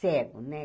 cego, né?